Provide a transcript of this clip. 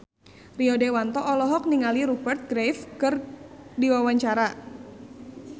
Rio Dewanto olohok ningali Rupert Graves keur diwawancara